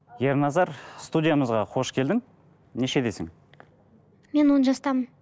ерназар студиямызға қош келдің нешедесің мен он жастамын